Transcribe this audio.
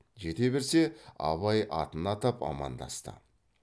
жете берсе абай атын атап амандасты